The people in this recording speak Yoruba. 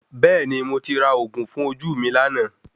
Bẹ́ẹ̀ni, mo ti ra òògùn fún ojú mi lánàá